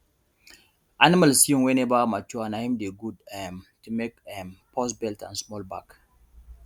animal skin wey never mature na hin dey good um to make um purse belt and small bag